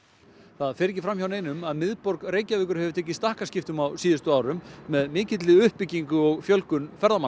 það fer ekki fram hjá neinum að miðborg Reykjavíkur hefur tekið stakkaskiptum á síðustu árum með mikilli uppbyggingu og fjölgun ferðamanna